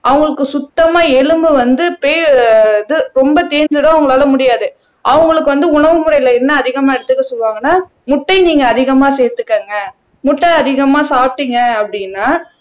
அவங்களுக்கு சுத்தமா எலும்பு வந்து ரொம்ப தேஞ்சிடும் அவங்களால முடியாது அவங்களுக்கு வந்து உணவு முறையில என்ன அதிகமா எடுத்துக்க சொல்லுவாங்கன்னா முட்டை நீங்க அதிகமா சேர்த்துக்கங்க முட்டை அதிகமா சாப்பிட்டீங்க அப்படின்னா